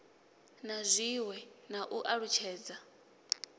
na zwiwe na u alutshedza